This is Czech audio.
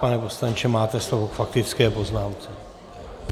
Pane poslanče, máte slovo k faktické poznámce.